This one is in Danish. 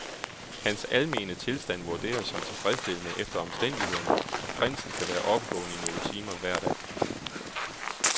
Hans almene tilstand vurderes som tilfredsstillende efter omstændighederne, og Prinsen kan være oppegående i nogle timer hver dag.